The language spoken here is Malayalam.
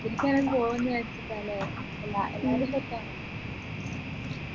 ഇതിൽ തന്നെ പോവു എന്ന് വെച്ചിട്ടാണ് എല്ലാ എല്ലാരും set ആണ്